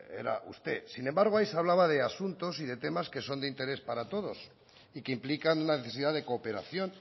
era usted sin embargo ahí se hablaba de asuntos y de temas que son de interés para todos y que implican una necesidad de cooperación